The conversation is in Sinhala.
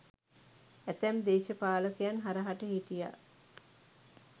ඇතැම් දේශපාලකයන් හරහට හිටියා